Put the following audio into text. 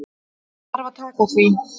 Ég þarf að taka því.